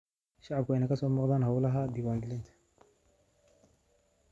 Shacabku waa in ay ka soo muuqdaan hawlaha diiwaangelinta.